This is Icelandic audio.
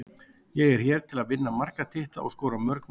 Ég er hér til að vinna marga titla og skora mörg mörk.